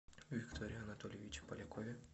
викторе анатольевиче полякове